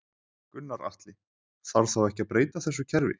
Gunnar Atli: Þarf þá ekki að breyta þessu kerfi?